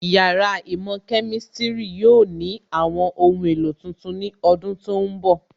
Yàrá īmò Kemistiri yóò ní àwọn ohun èlò tuntun ní ọdún tó ń bọ̀